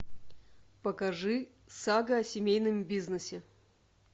покажи сага о семейном бизнесе